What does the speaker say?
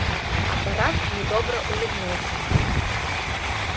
апорат недобро улыбнулся